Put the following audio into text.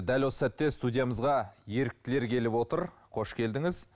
дәл осы сәтте студиямызға еріктілер келіп отыр қош келдіңіз